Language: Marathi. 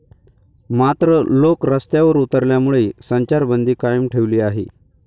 मात्र, लोक रस्त्यावर उतरल्यामुळे संचारबंदी कायम ठेवली आहे.